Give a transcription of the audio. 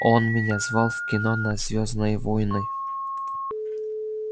он меня звал в кино на звёздные войны